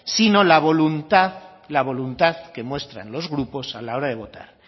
sino la voluntad la voluntad que muestran los grupos a la hora de votar